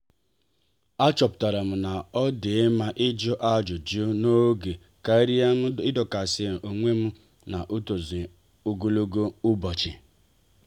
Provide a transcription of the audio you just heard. a chọpụtara na-odi mma ịjụ ajụjụ n'oge karịa m idokasi onwem n'nzuzo ogologo ụbọchị.